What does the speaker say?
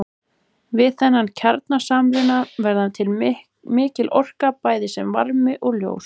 Við þennan kjarnasamruna verður til mikil orka bæði sem varmi og ljós.